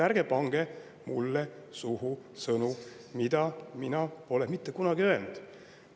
Ärge pange mulle suhu sõnu, mida ma pole mitte kunagi öelnud!